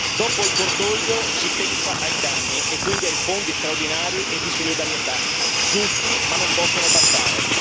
Dopo il cordoglio, si pensa ai danni e quindi ai fondi straordinari e di solidarietà, giusti, ma non possono bastare.